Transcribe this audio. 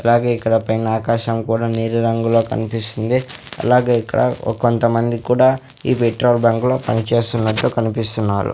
అలాగే ఇక్కడ పైన ఆకాశం కూడా నీలి రంగుల కన్పిస్తుంది అలాగే ఇక్కడ ఒ కొంతమంది కూడా ఈ పెట్రోల్ బంక్ లో పనిచేస్తున్నట్టు కనిపిస్తున్నారు.